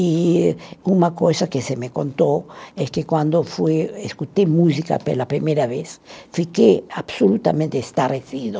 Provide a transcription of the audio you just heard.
E uma coisa que se me contou é que quando fui, escutei música pela primeira vez fiquei absolutamente estarrecido.